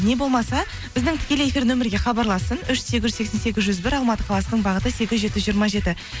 не болмаса біздің тікелей эфир нөмірге хабарлассын үш сегіз жүз сексен сегіз жүз бір алматы қаласының бағыты сегіз жеті жүз жиырма жеті